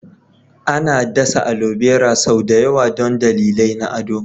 Ana dasa alobera sau da yawa don dalilai na ado.